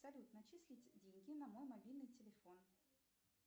салют начислить деньги на мой мобильный телефон